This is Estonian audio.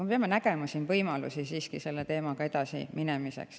Me peame nägema siiski võimalusi selle teemaga edasiminemiseks.